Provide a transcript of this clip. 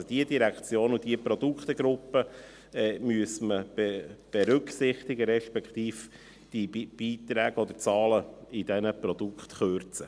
Es müssten die betreffenden Direktionen und Produktegruppen berücksichtigt werden, beziehungsweise, die Zahlen müssten bei diesen Produktgruppen gekürzt werden.